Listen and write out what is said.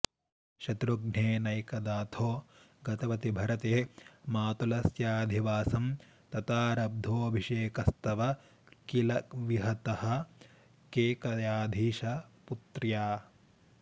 शत्रुघ्नेनैकदाथो गतवति भरते मातुलस्याधिवासं तातारब्धोऽभिषेकस्तव किल विहतः केकयाधीशपुत्र्या